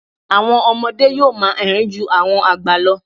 Àwọn ọmọdé yó́ò máa érìn-ín ju àwọn àgbà lọ.